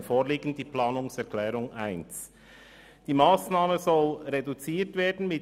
Die FiKo-Mehrheit beantragt, die Planungserklärung 1 zur Massnahme 46.4.2 Reduktion und Verzicht im Bereich Sport.